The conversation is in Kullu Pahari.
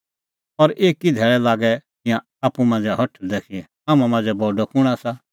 और एकी धैल़ै लागै तिंयां आप्पू मांझ़ै हठल़दै कि हाम्हां मांझ़ै बडअ कुंण आसा